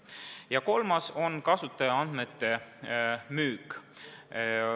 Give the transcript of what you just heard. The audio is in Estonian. Ja kolmas objekt on kasutajaandmete müük.